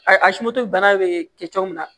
A a bana bɛ kɛ mun na